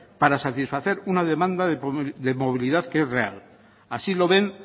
para satisfacer una demanda de movilidad que es real así lo ven